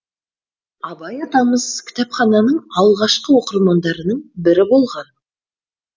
абай атамыз кітапхананың алғашқы оқырмандарының бірі болған